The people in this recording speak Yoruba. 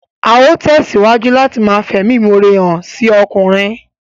Á ó tẹ̀síwájú láti ma fẹ̀mímọre hàn sí ọkùnrin